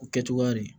O kɛ cogoya de